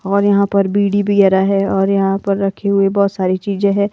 और यहां पर बीड़ी भी आ रहा है और यहां पर रखे हुए बहुत सारी चीज़ें हैं।